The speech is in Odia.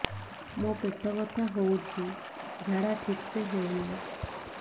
ମୋ ପେଟ ବଥା ହୋଉଛି ଝାଡା ଠିକ ସେ ହେଉନି